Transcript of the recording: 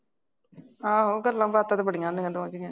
ਆਹੋ ਗੱਲਾਂ ਬਾਤਾਂ ਤਾਂ ਬੜੀਆਂ ਤੈਨੂੰ ਆਉਂਦੀਆਂ